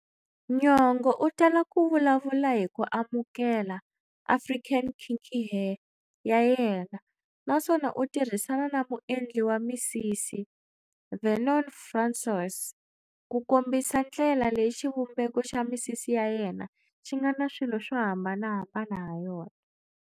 Nyong'o u tala ku vulavula hi ku amukela African kinky hair ya yena naswona u tirhisana na muendli wa misisi Vernon François ku kombisa ndlela leyi xivumbeko xa misisi ya yena xi nga na swilo swo hambanahambana ha yona.